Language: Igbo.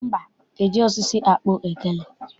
Mba, ejighị osisi akpụ ogene.